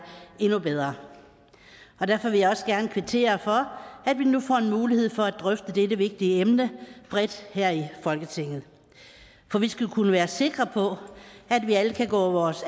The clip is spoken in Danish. endnu bedre derfor vil jeg også gerne kvittere for at vi nu får mulighed for at drøfte dette vigtige emne bredt her i folketinget for vi skal kunne være sikre på at vi alle kan gå vores